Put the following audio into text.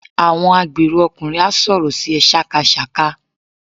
Àwọn agbèrò ọkùnrin á sọ̀rọ̀ sí ẹ sákasàka.